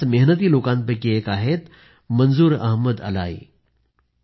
अशाच मेहनती लोकांपैकी एक आहेत मंजुर अहमद अलाई